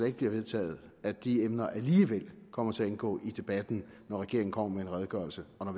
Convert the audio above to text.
ikke bliver vedtaget at de emner alligevel kommer til at indgå i debatten når regeringen kommer med en redegørelse og